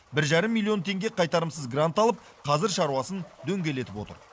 бір жарым миллион теңге қайтарымсыз грант алып қазір шаруасын дөңгелетіп отыр